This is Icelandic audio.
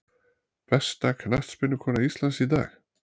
Besta knattspyrnukona Íslands í dag?